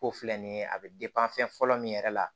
Ko filɛ nin ye a bɛ fɛn fɔlɔ min yɛrɛ la